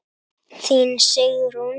Þín, Sigrún.